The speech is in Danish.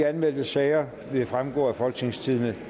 anmeldte sager vil fremgå af folketingstidende